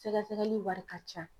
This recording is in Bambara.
Sɛgɛsɛgɛli wari ka can.